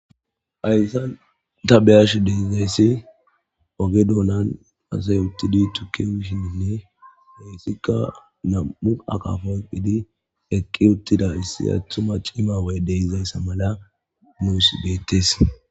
Hayssan ta beyash deizayssi oge doonan asay uttidi tukke wishiinne heyssikka nam'u akafa oyqidi eqqi uttida issi attuma ciima woy de izayssa mala muyuss geettes.